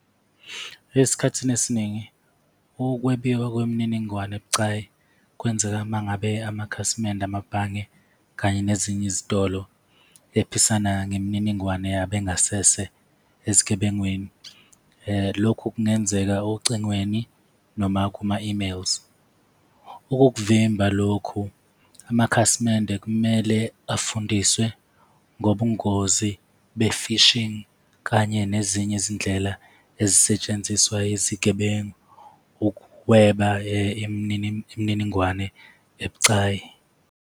Esikhathini esiningi, ukwebiwa kwemininingwane ebucayi kwenzeka uma ngabe amakhasimende, amabhange kanye nezinye izitolo ephisana ngemininingwane yabo engasese ezigebengwini. Lokhu kungenzeka ocingweni noma kuma-emails. Okuvimba lokhu, amakhasimende kumele bafundiswe ngobungozi be-phishing, kanye nezinye izindlela ezisetshenziswa izigebengu, ukweba imininingwane ebucayi.